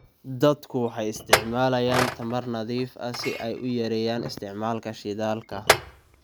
Dadku waxay isticmaalayaan tamar nadiif ah si ay u yareeyaan isticmaalka shidaalka.